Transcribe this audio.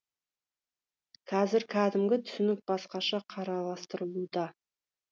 қазір кәдімгі түсінік басқаша қараластырылуда